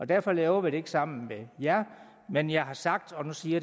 derfor laver vi det ikke sammen med jer men jeg har sagt og nu siger